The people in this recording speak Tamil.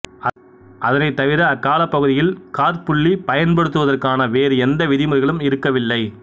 அதனைத்தவிர அக்காலப்பகுதியில் காற்புள்ளி பயன்படுத்துவதற்கான வேறு எந்த விதிமுறைகளும் இருக்கவில்லை